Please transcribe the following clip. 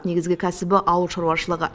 негізгі кәсібі ауыл шаруашылығы